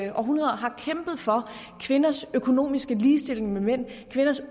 i århundreder har kæmpet for kvinders økonomiske ligestilling med mænd kvinders